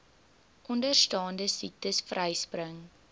onderstaande siektes vryspring